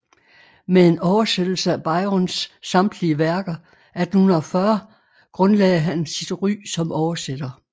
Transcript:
Med en oversættelse af Byrons samtlige værker 1840 grundlagde han sit ry som oversætter